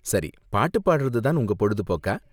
சரி, பாட்டு பாடுறது தான் உங்க பொழுதுபோக்கா?